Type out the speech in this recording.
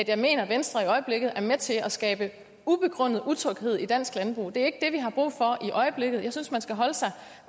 jeg mener at venstre i øjeblikket er med til at skabe ubegrundet utryghed i dansk landbrug det er ikke har brug for i øjeblikket og jeg synes man skal holde sig